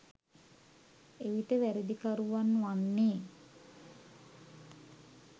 එවිට වැරැදිකරුවන් වන්නේ